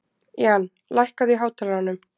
Jan, lækkaðu í hátalaranum.